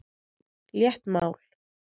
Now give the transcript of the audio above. Létt mál.